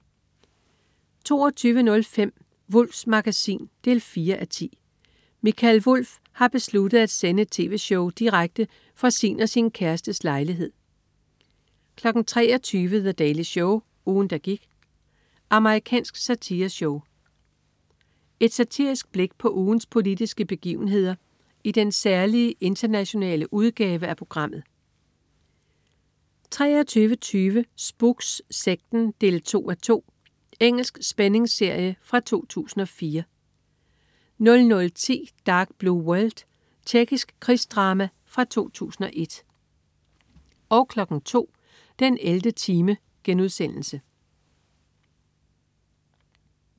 22.05 Wulffs Magasin 4:10. Mikael Wulff har besluttet at sende et tv-show direkte fra sin og sin kærestes lejlighed 23.00 The Daily Show. Ugen, der gik. Amerikansk satireshow. Et satirisk blik på ugens politiske begivenheder i den særlige internationale udgave af programmet 23.20 Spooks: Sekten 2:2. Engelsk spændingsserie fra 2004 00.10 Dark Blue World. Tjekkisk krigsdrama fra 2001 02.00 den 11. time*